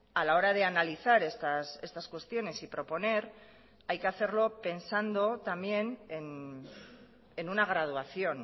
a la hora de analizar estas cuestiones y proponer hay que hacerlo pensando también en una graduación